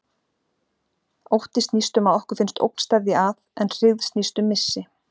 Ótti snýst um að okkur finnst ógn steðja að, en hryggð snýst um missi.